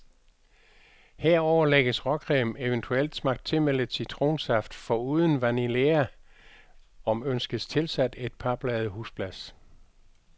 Herover lægges råcreme, eventuelt smagt til med lidt citronsaft, foruden vanillea, om ønskes tilsat et par blade husblas.